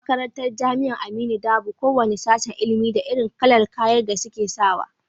A makarantar jamia aminu dabo, ko wane sashen ilimin da irin kalar kayan da suke sawa